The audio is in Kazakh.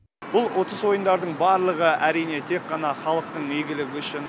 бұл ұтыс ойындардың барлығы әрине тек қана халықтың игілігі үшін